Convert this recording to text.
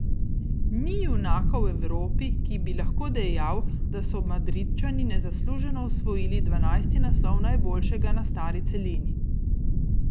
Ni junaka v Evropi, ki bi lahko dejal, da so Madridčani nezasluženo osvojili dvanajsti naslov najboljšega na stari celini.